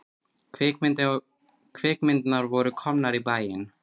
Kvikmyndirnar voru komnar í bæinn.